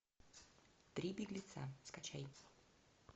три беглеца скачай